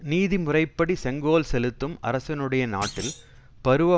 நீதி முறைப்படி செங்கோல் செலுத்தும் அரசனுடைய நாட்டில் பருவ